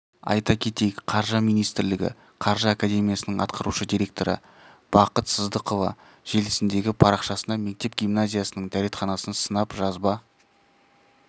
айта кетейік қаржы министрлігі қаржы академиясының атқарушы директоры бақыт сыздықова желісіндегі парақшасына мектеп-гимназиясының дәретханасын сынап жазба